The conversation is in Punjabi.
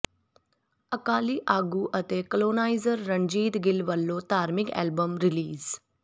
ਅਕਾਲੀ ਆਗੂ ਤੇ ਕਲੋਨਾਈਜਰ ਰਣਜੀਤ ਗਿੱਲ ਵੱਲੋਂ ਧਾਰਮਿਕ ਐਲਬਮ ਰਿਲੀਜ